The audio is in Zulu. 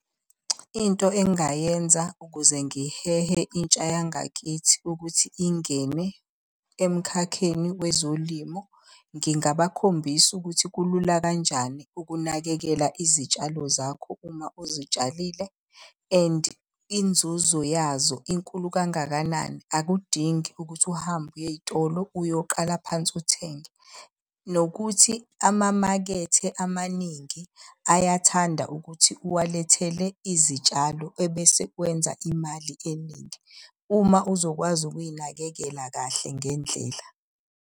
Into engingayenza ukuze ngihehe intsha yangakithi ukuthi ingene emkhakheni wezolimo. Ngingabakhombisa ukuthi kulula kanjani ukunakekela izitshalo zakho uma uzitshalile and inzuzo yazo inkulu kangakanani. Akudingi ukuthi uhambe uye ey'tolo uyoqala phansi uthenge. Nokuthi amamakethe amaningi ayathanda ukuthi uwalethele izitshalo ebese wenza imali eningi. Uma uzokwazi ukuy'nakekela kahle ngendlela.